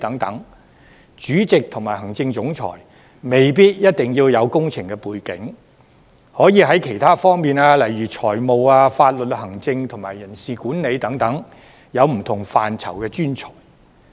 所以，主席和行政總裁未必一定要具備工程背景，可以是其他方面如財務、法律、行政及人事管理等不同範疇的專才。